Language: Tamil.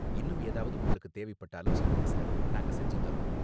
இன்னும் ஏதாவது உங்களுக்கு தேவைப்பட்டாலும் சொல்லுங்க, சார். நாங்க செஞ்சு தர்றோம்.